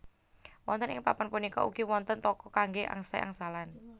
Wonten ing papan punika ugi wonten toko kanggé angsai angsalan